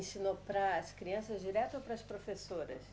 Ensinou para as crianças direto ou para as professoras?